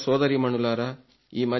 సోదరసోదరీమణులారా